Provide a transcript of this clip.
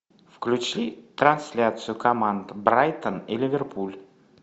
включи трансляцию команд брайтон и ливерпуль